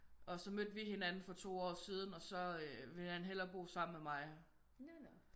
Og så mødte vi hinanden for 2 år siden og så ville han hellere bo sammen med mig